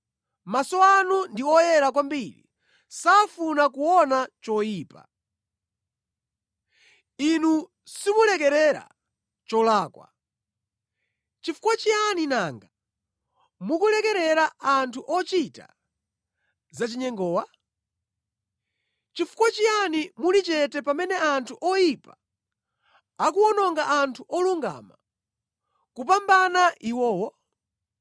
Maso anu ndi oyera kwambiri safuna kuona choyipa; Inu simulekerera cholakwa. Chifukwa chiyani nanga mukulekerera anthu ochita zachinyengowa? Chifukwa chiyani muli chete pamene anthu oyipa akuwononga anthu olungama kupambana iwowo?